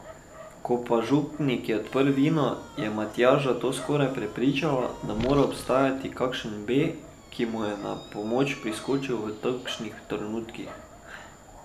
Ko pa župnik je odprl vino, je Matjaža to skoraj prepričalo, da mora obstajati kakšen B, ki mu je na pomoč priskočil v takšnih trenutkih.